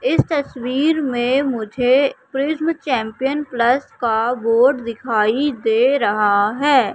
इस तस्वीर में मुझे प्रिज्म चैंपियन प्लस का बोर्ड दिखाई दे रहा है।